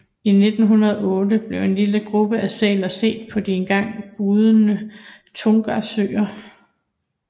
I 1908 blev en lille gruppe af sæler set på de engang bugnende Tortugasøer